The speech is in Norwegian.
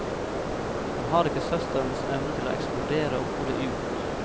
Han han har ikke søsterens evne til å eksplodere og få det ut.